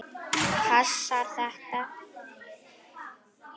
Passar þetta?